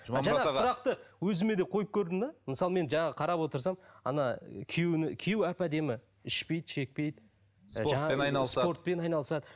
сұрақты өзіме де қойып көрдім де мысалы мен жаңа қарап отырсам күйеуі әп әдемі ішпейді шекпейді спортпен айналысады